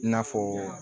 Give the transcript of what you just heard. I n'a fɔ